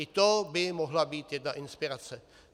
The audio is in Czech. I to by mohla být jedna inspirace.